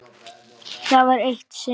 Það var eitt sinn.